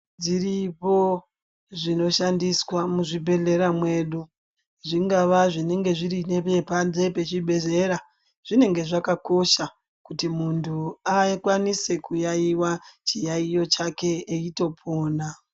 Dziripo zvino shandiswa mu zvibhedhlera mwedu zvingava zvinenge zviri nepabanze pe chibhedhlera zvinenge zvakakosha kuti muntu akwanise kuyayiwa chiyayiyo chake eipona.